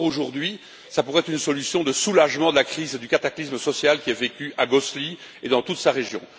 Or, aujourd'hui, ça pourrait être une solution de soulagement de la crise et du cataclysme social qui est vécu à Gosselies et dans toute sa région.